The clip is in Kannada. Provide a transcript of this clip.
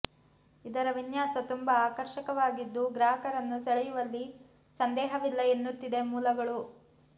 ಇದರ ವಿನ್ಯಾಸ ತುಂಬಾ ಆಕರ್ಷಕವಾಗಿದ್ದು ಗಾಹಕರನ್ನು ಸೆಳೆಯುವಲ್ಲಿ ಸಂದೇಹವಿಲ್ಲ ಎನ್ನುತ್ತಿದೆ ಮೂಲಗಳು